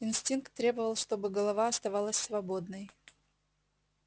инстинкт требовал чтобы голова оставалась свободной